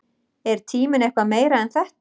Er tíminn eitthvað meira en þetta?